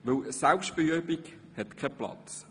Denn eine «Selbstbeübung» hat keinen Platz.